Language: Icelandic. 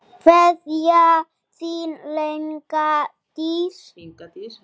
Kveðja, þín, Inga Dís.